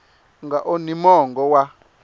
u nga onhi mongo wa